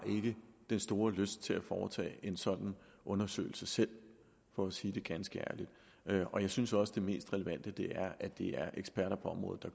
den store lyst til at foretage en sådan undersøgelse selv for at sige det ganske ærligt og jeg synes også det mest relevant at det er eksperter på området